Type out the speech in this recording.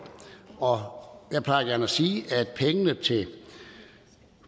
og jeg plejer gerne at sige at pengene til